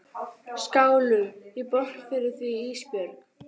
Mara, hvað er á áætluninni minni í dag?